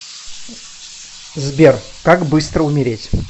сбер как быстро умереть